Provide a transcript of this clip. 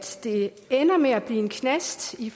det ender med at blive en knast i